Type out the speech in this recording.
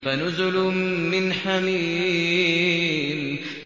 فَنُزُلٌ مِّنْ حَمِيمٍ